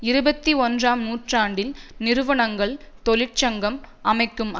இருபத்தி ஒன்றாம் நூற்றாண்டில் நிறுவனங்கள் தொழிற்சங்கம் அமைக்கும்